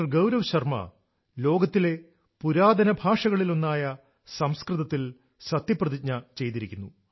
ഗൌരവ് ശർമ ലോകത്തിലെ പുരാതന ഭാഷകളിലൊന്നായ സംസ്കൃതത്തിൽ സത്യപ്രതിജ്ഞ ചെയ്തിരിക്കുന്നു